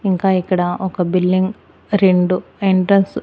ఇంకా ఇక్కడ ఒక బిల్లింగ్ రెండు ఎంట్రన్స్ .